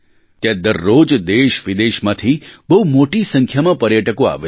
ત્યાં દરરોજ દેશવિદેશમાંથી બહુ મોટી સંખ્યામાં પર્યટકો આવે છે